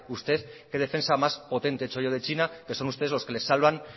usted qué defensa más potente he hecho yo de china que son ustedes los que les salvan